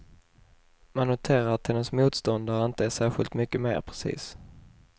Man noterar att hennes motståndare inte är särskilt mycket mer precis.